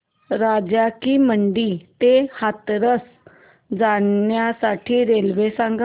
राजा की मंडी ते हाथरस जाण्यासाठी रेल्वे सांग